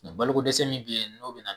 Baloko dɛsɛ min be yen n'o bi na